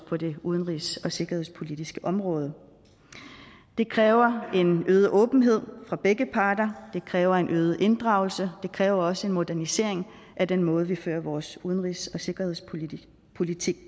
på det udenrigs og sikkerhedspolitiske område det kræver en øget åbenhed fra begge parter det kræver en øget inddragelse det kræver også en modernisering af den måde vi sammen fører vores udenrigs og sikkerhedspolitik